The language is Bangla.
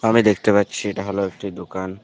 আমি দেখতে পাচ্ছি এটা হল একটি দোকান।